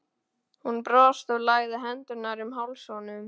Hún brosti og lagði hendurnar um háls honum.